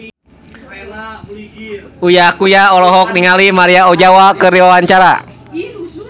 Uya Kuya olohok ningali Maria Ozawa keur diwawancara